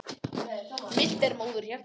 Milt er móðurhjarta.